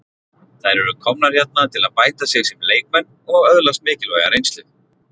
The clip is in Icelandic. Þær eru komnar hérna til að bæta sig sem leikmenn og öðlast mikilvæga reynslu.